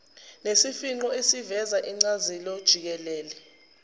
nesifingqo esiveza incazelojikelele